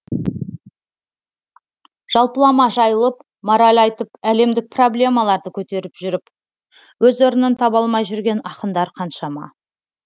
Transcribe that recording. жалпылама жайылып мораль айтып әлемдік проблемаларды көтеріп жүріп өз орнын таба алмай жүрген ақындар қаншама